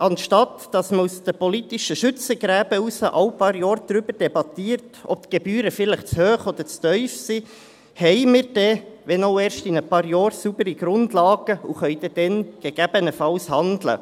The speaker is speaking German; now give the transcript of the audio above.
Statt dass man aus den politischen Schützengräben heraus alle paar Jahre darüber debattiert, ob die Gebühren vielleicht zu hoch oder zu tief sind, haben wir dann – wenn auch erst in ein paar Jahren – saubere Grundlagen und können dann gegebenenfalls handeln.